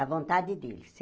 A vontade dele.